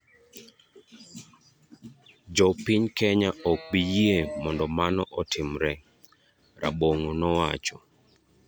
Jo piny Kenya ok bi yie mondo mano otimre," Rabong'o nowacho.